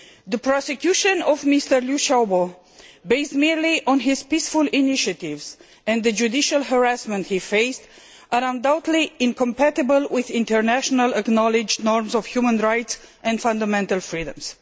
The prosecution of Mr Liu Xiaobo, based solely on his peaceful initiatives, and the judicial harassment he faced are undoubtedly incompatible with internationally acknowledged norms of human rights and fundamental freedoms.